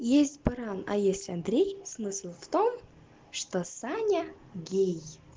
есть баран а есть андрей смысл в том что саня гей